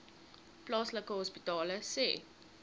plaaslike hospitale sê